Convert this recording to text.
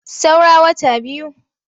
Saura wata biyu.